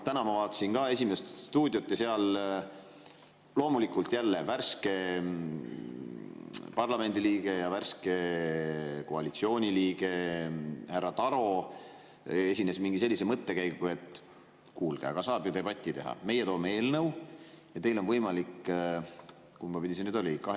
Täna ma vaatasin ka "Esimest stuudiot" ja seal värske parlamendiliige ja värske koalitsiooniliige härra Taro esines mingi sellise mõttekäiguga, et kuulge, aga saab ju debatti pidada, et meie toome eelnõu ja teil on võimalik – kumba pidi see nüüd oli?